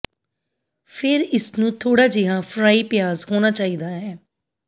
ਫਿਰ ਇਸ ਨੂੰ ਥੋੜਾ ਜਿਹਾ ਫਰਾਈ ਪਿਆਜ਼ ਹੋਣਾ ਚਾਹੀਦਾ ਹੈ